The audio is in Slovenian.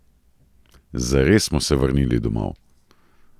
Zares smo se vrnili domov!